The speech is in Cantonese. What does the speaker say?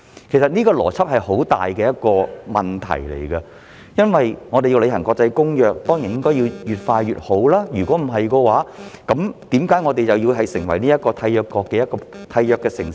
其實這個邏輯有很大問題，因為我們若要履行國際公約，當然越快越好，否則為何我們要成為其中一個締約城市呢？